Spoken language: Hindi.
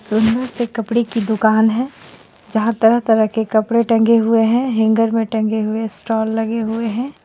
सुन्दर से कपडे की दूकान हे जहाँ तरह-तरह के कपडे टंगे हुई है हेंगर मे टंगे हुई स्टॉल लगे हुई है।